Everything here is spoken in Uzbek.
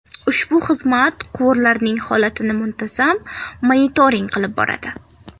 Ushbu xizmat quvurlarning holatini muntazam monitoring qilib boradi.